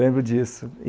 Lembro disso.